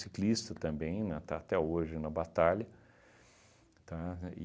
também, né, está até hoje na batalha, tá?